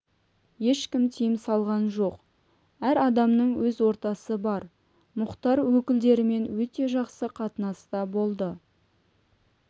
ешкім тыйым салған жоқ әр адамның өз ортасы бар мұхтар өкілдерімен өте жақсы қатынаста болды